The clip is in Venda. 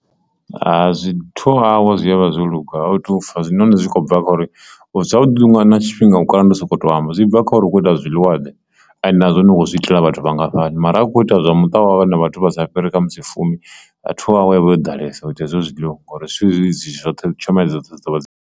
Ha zwi two hour zwi a vha u zwo luga hezwinoni zwi kho bva kha uri zwavhuḓi vhuḓi na tshifhinga u kala ndi u sokoto amba zwi bva kha uri u kho bika zwiḽiwa ḓe ende na zwori u kho ita zwa vhathu vhangafhani mara u kho ita zwa muṱa wau na vhathu vha sa fhiri khamusi fumi two hour i vha yo ḓalesa u i ita hezwo zwiḽiwa ngauri dzoṱhe tshomedzo .